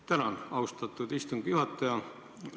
Tänan, austatud istungi juhataja!